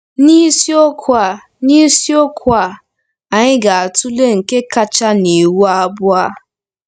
N’isiokwu a N’isiokwu a, anyị ga-atụle nke kacha n’iwu abụọ a.